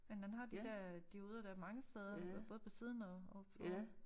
Men han har de der dioder dér mange steder både på siden og for oven